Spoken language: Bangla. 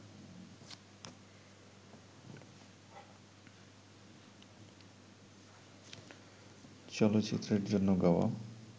চলচ্চিত্রের জন্য গাওয়া